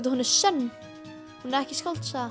hún er sönn hún er ekki skáldsaga